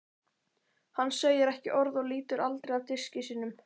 Hann segir ekki orð og lítur aldrei af diski sínum.